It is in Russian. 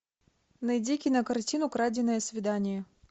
найди кинокартину краденное свидание